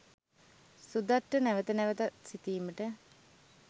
සුදත්ට නැවත නැවතත් සිතීමට